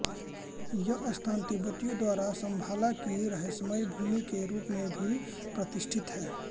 यह स्थान तिब्बतियों द्वारा शम्भाला की रहस्यमय भूमि के रूप में भी प्रतिष्ठित है